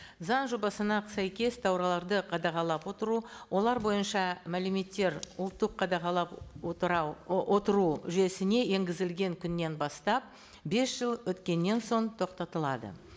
заі жобасына сәйкес тауарларды қадағалап отыру олар бойынша мәліметтер ұлттық қадағалап отыра отыру жүйесіне енгізілген күннен бастап бес жыл өткеннен соң тоқтатылады